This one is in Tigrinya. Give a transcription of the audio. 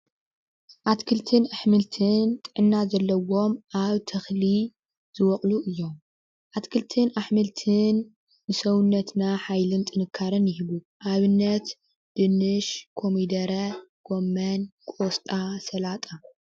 ኣትክልትን ኣሕምልትን ጥዕና ዘለዎም ኣብ ተኽሊ ዝበቕሉ እዮም። ኣትክልትን ኣሕምልትን ንሰውነትና ሓይልን ጥንካረን ይህቡ። ኣብነት ድንሽ፣ ኮሚደረ፣ ጎሞን፣ ቆስጣ፣ ሰላጣ ።